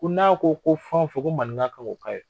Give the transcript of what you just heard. Ko n'a ko ko fɛn o fɛn ko maninka k'o k'a ye.